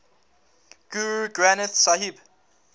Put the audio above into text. guru granth sahib